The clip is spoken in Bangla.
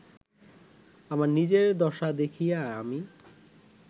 আমার নিজের দশা দেখিয়া আমি